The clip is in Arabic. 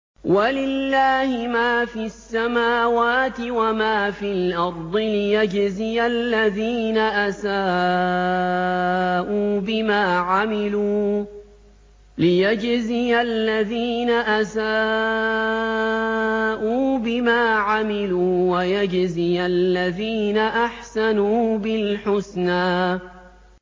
وَلِلَّهِ مَا فِي السَّمَاوَاتِ وَمَا فِي الْأَرْضِ لِيَجْزِيَ الَّذِينَ أَسَاءُوا بِمَا عَمِلُوا وَيَجْزِيَ الَّذِينَ أَحْسَنُوا بِالْحُسْنَى